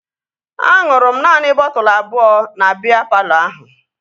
Aṅụrụ m naanị bọtụlu abụọ na biya palọ ahụ